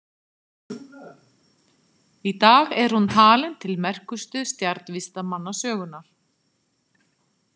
Í dag er hún talin til merkustu stjarnvísindamanna sögunnar.